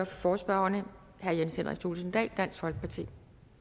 for forespørgerne herre jens henrik thulesen dahl dansk folkeparti